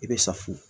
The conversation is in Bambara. I bɛ safun